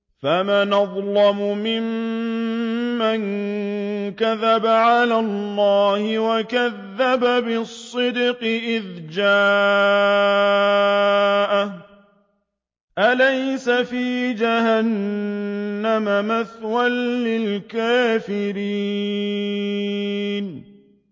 ۞ فَمَنْ أَظْلَمُ مِمَّن كَذَبَ عَلَى اللَّهِ وَكَذَّبَ بِالصِّدْقِ إِذْ جَاءَهُ ۚ أَلَيْسَ فِي جَهَنَّمَ مَثْوًى لِّلْكَافِرِينَ